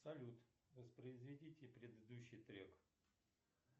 салют воспроизведите предыдущий трек